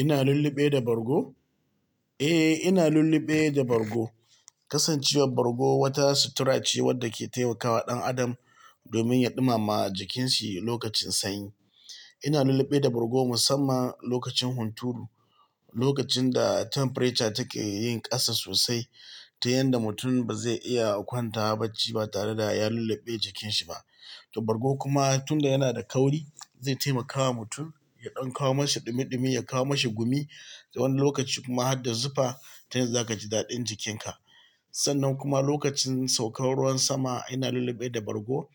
Ina lulube da bargo. Eh, ina lulluɓe da bargo. Kasancewar bargo wata sutura ce wadda ke taimakawa ɗan adam domin ya ɗumama jikin shi lokacin sanyi. Ina lulluɓe da bargo musamman lokacin hunturu, lokacin da temperature take yin ƙasa sosai, ta yanda mutum ba zai iya a kwanta bacci ba tare da ya lulluɓe jikin shi ba. To bargo kuma tun da yana da kauri, zai taimakawa mutum, ya ɗan kawo mashi ɗumi-ɗumi, ya kawo mashi gumi. Ta wani lokaci kuma hada zufa ta yanda zaka ji dadin jikin ka. Sannan kuma lokacin saukar ruwan sama, ina lulluɓe da bargo.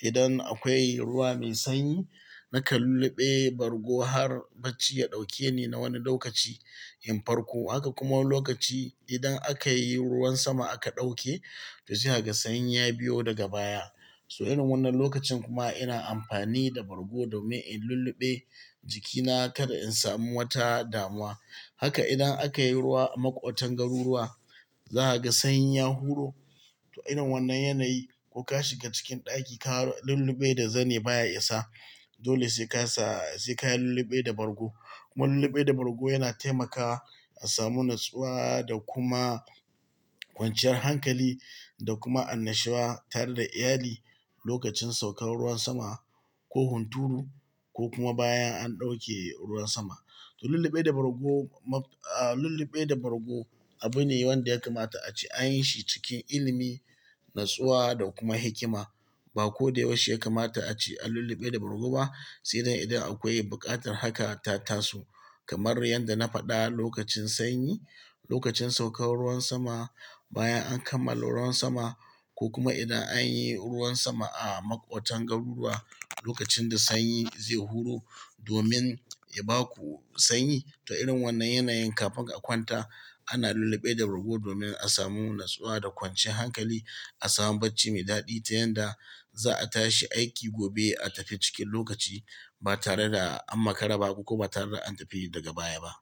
Idan akwai ruwa mai sanyi, nakan lulluɓe bargo har bacci ya ɗauke ni na wani lokaci in farko. Haka kuma wani lokaci idan aka yi ruwan sama aka ɗauke, to sai kaga sanyi ya biyo daga baya. To irin wannan lokacin kuma ina amfani da bargo domin in lulluɓe jikina kada in samu wata damuwa. Haka idan aka yi ruwa a maƙotan garuruwa, za ka ga sanyi ya huro. To irin wannan yanayi ko ka shiga cikin ɗaki ka lulluɓe da zane baya isa. Dole sai ka sa-- sai ka yi lulluɓe da bargo. Kuma lulluɓe da bargo yana taimakawa a samu natsuwa da kuma kwanciyar hankali da kuma annashuwa tare da iyali lokacin saukar ruwan sama ko hunturu ko kuma bayan an ɗauke ruwan sama. To lulluɓe da bargo mab-- aa lulluɓe da bargo abu ne wanda ya kamata a ce an yi shi cikin ilimi, natsuwa da kuma hikima. Ba ko da yaushe ya kamata a ce a lulluɓe da bargo ba. Sai dai idan akwai buƙatar haka ta tasu kamar yanda na faɗa lokacin sanyi, lokacin saukar ruwan sama, bayan an kammala ruwan sama ko kuma idan an yi ruwan sama a maƙotan garuruwa lokacin da sanyi zai huro domin ya baku sanyi. Toh irin wannan yanayin kafin a kwanta ana lullube da bargo domin a samu natsuwa da kwanciya hankali a samu barci mai dadi ta yanda za'a tashi aiki gobe a tafi cikin lokaci ba tare da an makara ba ko ba tare da an tafi daga baya ba.